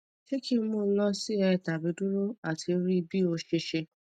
se ki n mu lo si er tabi duro ati ri bi ose se